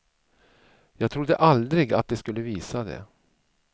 Jag trodde aldrig att de skulle visa det.